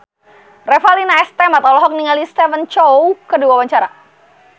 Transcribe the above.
Revalina S. Temat olohok ningali Stephen Chow keur diwawancara